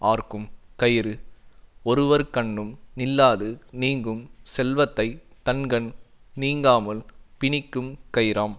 ஆர்க்கும் கயிறு ஒருவர்கண்ணும் நில்லாது நீங்கும் செல்வத்தை தன்கண் நீங்காமல் பிணிக்கும் கயிறாம்